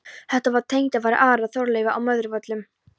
Þarna var tengdafaðir Ara, Þorleifur á Möðruvöllum.